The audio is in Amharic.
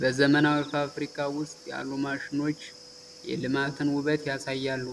በዘመናዊ ፋብሪካ ውስጥ ያሉ ማሽኖች የልማትን ውበት ያሳያሉ።